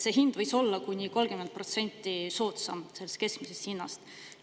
Hind võis olla kuni 30% soodsam keskmisest hinnast.